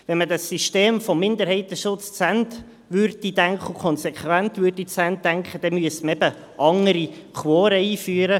Würde man dieses System des Minderheitenschutzes zu Ende denken und dies konsequent, dann müsste man andere Quoren einführen.